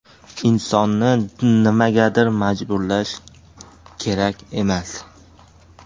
Insonni nimagadir majburlash kerak emas.